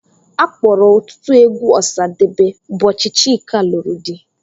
A kpọrọ ọtụtụ egwu Osadebe ụbọchị Chika lụrụ di.